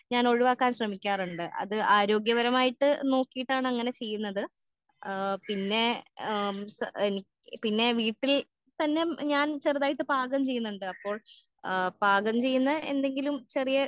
ഞാൻ ഒഴിവാക്കാൻ ശ്രെമിക്കാറുണ്ട് അത് ആരോഗ്യപരമായിട്ട് നോക്കീട്ടാണ് അങ്ങനെ ചെയുന്നത് ആ പിന്നെ ആ എനിക്ക് പിന്നെ വീട്ടിൽ പിന്നെ ഞാൻ ചെറുതായിട്ട് പാകം ചെയുന്നുണ്ട് അപ്പോൾ ആ പാകം ചെയുന്ന എന്തെങ്കിലും ചെറിയ